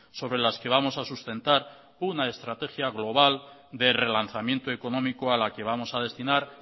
sobre las que vamos a sustentar una estrategia global de relanzamiento económico a la que vamos a destinar